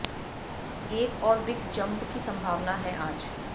एक और big jump की संभावना है आज